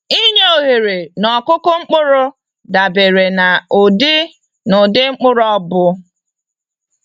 Inye oghere n'ọkụkụ mkpụrụ dabere na ụdị na ụdị mkpụrụ ọbụ.